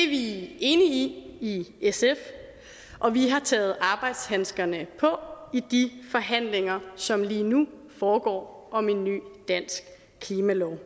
vi enige i i sf og vi har taget arbejdshandskerne på i de forhandlinger som lige nu foregår om en ny dansk klimalov